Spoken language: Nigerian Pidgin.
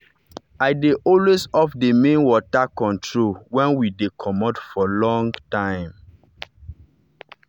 i dey always off the main water control when we dey comot for long time.